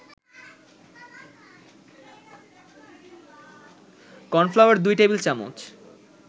cornflour ২ টেবিল-চামচ